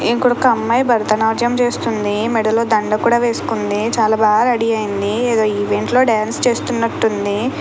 ఇంకొక అమ్మాయి భరతనాట్యం చేస్తుంది. మెడలో దండల కూడా వేసుకోంది. చాలా బాగా రెడీ అయింది. ఎదో ఈవెంట్ లో డాన్స్ చేస్తున్నట్టుంది.